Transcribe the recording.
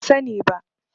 Ban sani bi